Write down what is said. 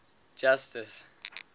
justice